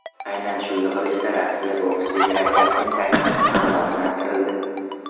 Aynan shu yig‘ilishda Rossiya boks federatsiyasining taklifi qanoatlantirildi.